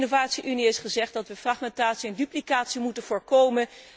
In de innovatie unie is gezegd dat we fragmentatie en duplicatie moeten voorkomen.